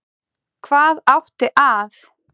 Hvað átti að